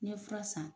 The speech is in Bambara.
N ye fura san